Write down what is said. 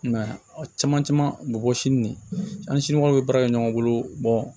I m'a ye a caman caman mɔgɔ si nin an ni sinikɛnɛ bɛ baara kɛ ɲɔgɔn bolo